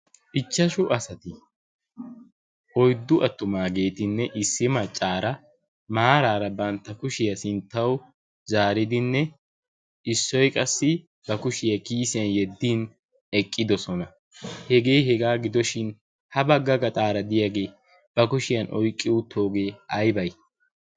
ichchashu asati oiddu attumaageetinne issi maccaara maaraara bantta kushiyaa sinttau zaaridinne issoi qassi ba kushiyaa kiyisiyan yeddin eqqidosona hegee hegaa gidoshin ha bagga gaxaara diyaagee ba kushiyan oiqqi uuttoogee ai bai?